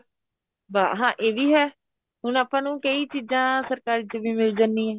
ਬੱਸ ਹਾਂ ਇਹ ਵੀ ਹੈ ਹੁਣ ਆਪਾਂ ਨੂੰ ਕਈ ਚੀਜ਼ਾ ਸਰਕਾਰੀ ਚ ਮਿਲ ਜਾਂਦੀਆ